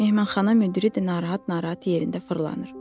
Nehmanxana müdiri də narahat-narahat yerində fırlanır.